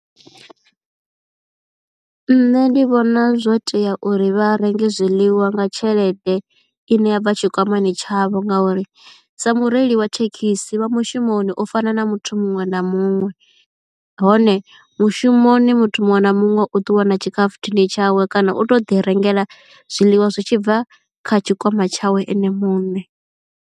Nṋe ndi vhona zwo tea uri vha renge zwiḽiwa nga tshelede ine ya bva tshikwamani tshavho ngauri sa mureili wa thekhisi vha mushumoni u fana na muthu muṅwe na muṅwe hone mushumoni muthu muṅwe na muṅwe u ṱuwa na tshikhafuthini tshawe kana u to ḓi rengela zwiḽiwa zwi tshi bva kha tshikwama tshawe ene muṋe.